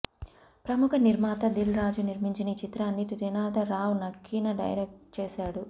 ప్రమూఖ నిర్మాత దిల్ రాజు నిర్మించిన ఈ చిత్రాన్ని త్రినాథ రావ్ నక్కిన డైరెక్ట్ చేశాడు